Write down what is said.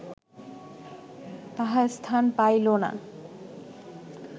তাহা স্থান পাইল না